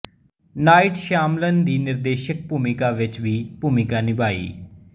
night Shyamalan ਦੀ ਨਿਰਦੇਸ਼ਕ ਭੂਮਿਕਾ ਵਿੱਚ ਵੀ ਭੂਮਿਕਾ ਨਿਭਾਈ